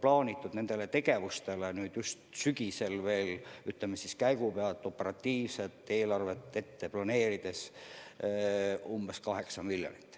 plaaniti sügisel käigu pealt nendeks tegevusteks operatiivselt eelarvet kavandades umbes 8 miljonit.